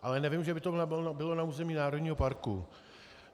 Ale nevím, že by to bylo na území národního parku.